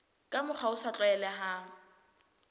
ka mokgwa o sa tlwaelehang